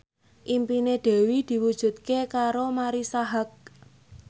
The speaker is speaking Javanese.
impine Dewi diwujudke karo Marisa Haque